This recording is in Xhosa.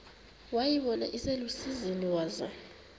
wayibona iselusizini waza